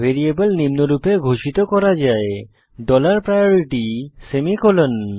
variable নিম্নরূপে ঘোষিত করা যায় ডলার প্রায়োরিটি সেমিকোলন